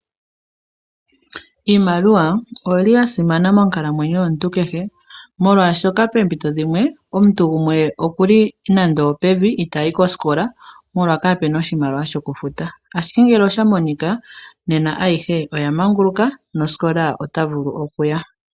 Iimaliwa oyili ya simana monkalamwenyo yomuntu kehe molwaashoka poompito dhimwe omuntu gumwe oku li nando opevi itaayi kosikola molwa kaapuna oshimaliwa shokufuta. Ashike ngele osha monika nena ayihe oya manguluka nosikola ota vulu oku ya.